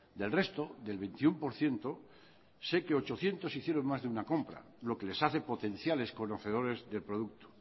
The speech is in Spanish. del resto del veintiuno por ciento sé que ochocientos hicieron más que una compra lo que les hace potenciales conocedores del producto